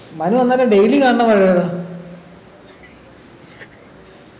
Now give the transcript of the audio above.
മനു അന്നേരം daily കാണുന്ന പഴം ഇതാ